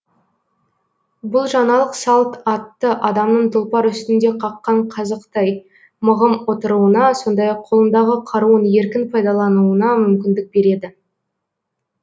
бұл жаңалық салт атты адамның тұлпар үстінде қаққан қазықтай мығым отыруына сондай ақ қолындағы қаруын еркін пайдалануына мүмкіндік береді